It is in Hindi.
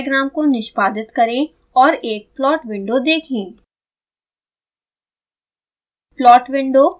xcos डायग्राम को निष्पादित करें और एक plot window देखें